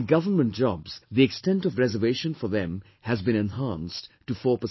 In government jobs, the extent of reservation for them has been enhanced to 4%